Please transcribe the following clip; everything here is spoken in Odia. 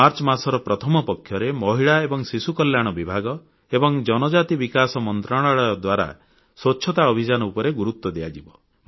ମାର୍ଚ୍ଚ ମାସର ପ୍ରଥମ ପକ୍ଷରେ ମହିଳା ଏବଂ ଶିଶୁ କଲ୍ୟାଣ ବିଭାଗ ଏବଂ ଜନଜାତି ବିକାଶ ମନ୍ତ୍ରଣାଳୟ ଦ୍ୱାରା ସ୍ୱଚ୍ଛତା ଅଭିଯାନ ଉପରେ ଗୁରୁତ୍ୱ ଦିଆଯିବ